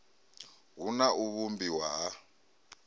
hu na u vhumbiwa ha